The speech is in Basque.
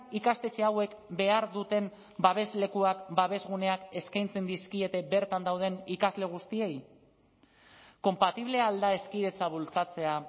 ikastetxe hauek behar duten babeslekuak babes guneak eskaintzen dizkiete bertan dauden ikasle guztiei konpatible al da hezkidetza bultzatzea